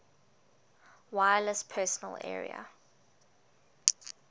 wireless personal area